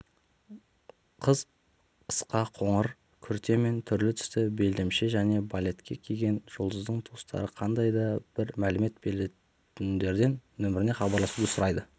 қыз қысқа қоңыр күрте мен түрлі түсті белдемше және балетка киген жұлдыздың туыстары қандай да бір мәлімет білетіндерден нөміріне хабарласуды сұрайды